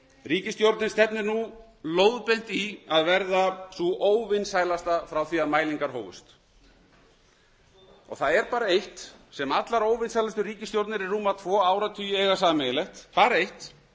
ríkisstjórnin stefnir nú lóðbeint í að verða sú óvinsælasta frá því að mælingar hófust það er bara eitt sem allar óvinsælustu ríkisstjórnir í rúma tvo áratugi eiga sameiginlegt bara eitt